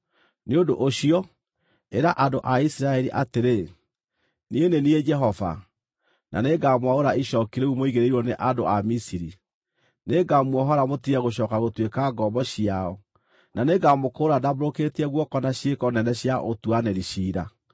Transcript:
“Nĩ ũndũ ũcio, ĩra andũ a Isiraeli atĩrĩ: ‘Niĩ nĩ niĩ Jehova, na nĩngamwaũra icooki rĩu mũigĩrĩirwo nĩ andũ a Misiri. Nĩngamuohora mũtige gũcooka gũtuĩka ngombo ciao, na nĩngamũkũũra ndambũrũkĩtie guoko na ciĩko nene cia ũtuanĩri ciira.